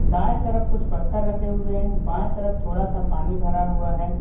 दाएं तरफ कुछ पत्थर रखे हुए हैं बाएं तरफ थोड़ा सा पानी भरा हुआ है।